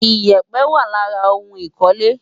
Ìyẹ̀pẹ̀ wà lára ohun ìkọ́lé.